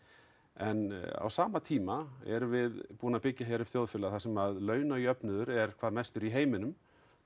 en á sama tíma erum við búin að byggja hér upp samfélag þar sem launajöfnuður er hvað mestur í heiminum